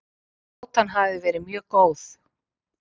Átan hafi verið mjög góð